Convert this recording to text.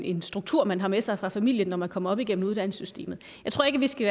en struktur man har med sig fra familien når man kommer op igennem uddannelsessystemet jeg tror ikke vi skal